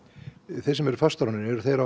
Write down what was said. þeir sem eru fastráðnir eru þeir